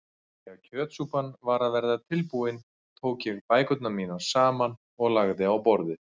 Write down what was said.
Þegar kjötsúpan var að verða tilbúin tók ég bækurnar mínar saman og lagði á borðið.